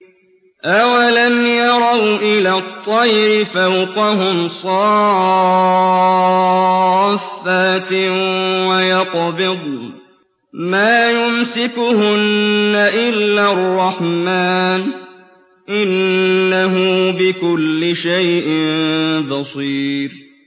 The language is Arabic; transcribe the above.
أَوَلَمْ يَرَوْا إِلَى الطَّيْرِ فَوْقَهُمْ صَافَّاتٍ وَيَقْبِضْنَ ۚ مَا يُمْسِكُهُنَّ إِلَّا الرَّحْمَٰنُ ۚ إِنَّهُ بِكُلِّ شَيْءٍ بَصِيرٌ